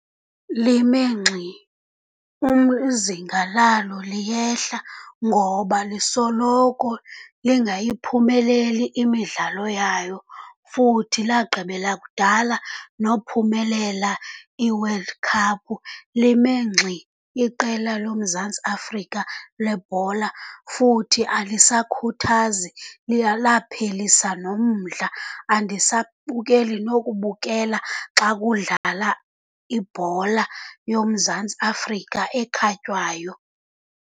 Lime ngxi, izinga lalo liyehla ngoba lisoloko lingayiphumeleli imidlalo yayo, futhi lagqibela kudala nophumelela i-World Cup. Lime ngxi iqela loMzantsi Afrika lebhola futhi alisakhuthazi, laphelisa nomdla, andisabukeli nokubukela xa kudlala ibhola yoMzantsi Afrika ekhatywayo.